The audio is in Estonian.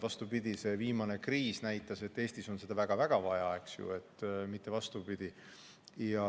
Vastupidi, viimane kriis näitas, et Eestis on seda väga-väga vaja, mitte vastupidi.